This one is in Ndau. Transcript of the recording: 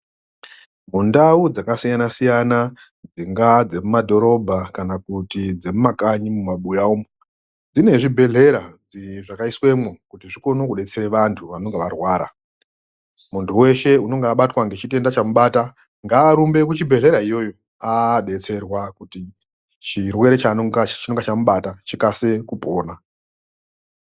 Mundau dzakasiyana siyana dzingaaa dzemumadhororbha kana kuti dzemumakanyi mumabuya umu dzine zvibhedhlera dzi zvakaiswemwo kuti zvikone kudetsere vantu vanenge varwara muntu weshe unenge abatwa ngechitenda chamubata ngaarumbe kuchibhedhlera iyoyo aabetserwa kuti chirwere chaanongacho chinonga chamubata chikase kupona.